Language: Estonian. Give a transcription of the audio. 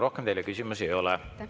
Rohkem teile küsimusi ei ole.